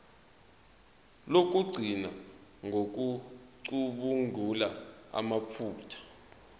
lokugcina ngokucubungula amaphutha